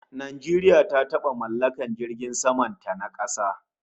Najeriya ta taba mallakar jiragen saman ta na kasa